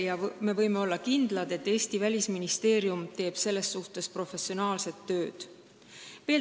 Ja me võime kindlad olla, et Eesti Välisministeerium teeb selles suhtes professionaalset tööd.